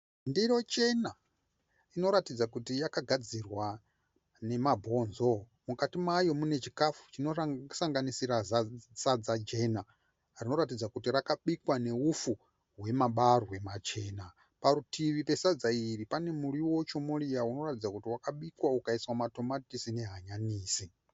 Ndiro chena inoratidza kuti yakagadzirwa nemabhonzo. Mukati mayo mune chikafu chinosanganisira sadza jena rinoratidza kuti rakabikwa nehupfu hwemabarwe machena. Parutivi pasadza iri pane muriwo chomoriya unoratidza kuti wakabikwa ukaiswa matomatisi nehanyanisi